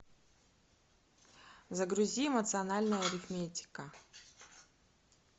загрузи эмоциональная арифметика